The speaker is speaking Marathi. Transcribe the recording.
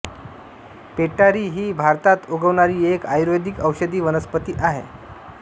पेटारी ही भारतात उगवणारी एक आयुर्वेदिक औषधी वनस्पती आहे